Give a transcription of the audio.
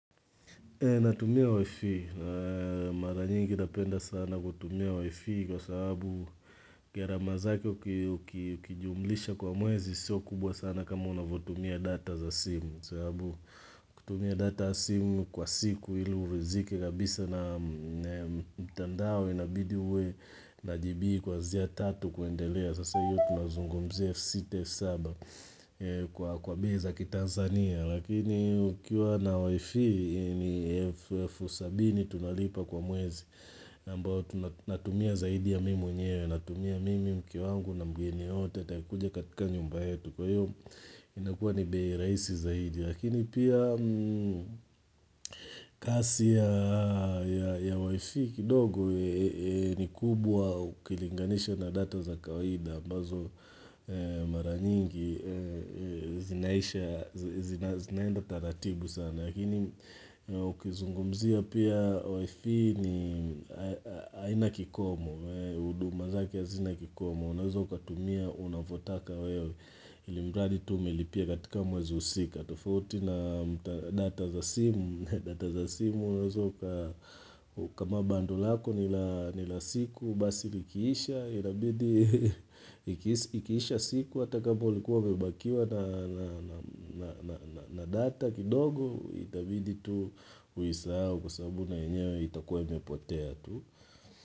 Natumia wifi, mara nyingi napenda sana kutumia wifi kwa sababu gharama zake uki uki ukijumlisha kwa mwezi sio kubwa sana kama unavotumia data za simu sababu kutumia data ya simu kwa siku ili hurithiki kabisa na mitandao inabidi uwe na jibi kuanzia tatu kuendelea sasa hiyo tunazungumzia elfu sita elfu saba kwa kwa bei za ki Tanzania lakini ukiwa na WIFI ni elfu elfu sabini tunalipa kwa mwezi ambao tunatumia zaidi ya mimi mwenyewe natumia mimi mke wangu na mgeni yoyote ataye kuja katika nyumba yetu kwa hiyo inakuwa ni bei rahisi zaidi lakini pia kasi ya ya WIFI kidogo ni kubwa ukilinganisha na data za kawaida ambazo mara nyingi zinaisha, zina zina zinaenda taratibu sana lakini ukizungumzia pia WIFI ni haina kikomo huduma zake hazina kikomo unaweza ukatumia unavotaka wewe ili mradi tu umelipia katika mwezi husika tofauti na data za simu data za simu unazo uka uka kama bando lako nila nila siku basi likiisha inabidi ikiisha siku hata kama ulikuwa umebakiwa na na na data kidogo itabidi tu uisahao kwa sababu na yenyewe itakuwa imepotea tu.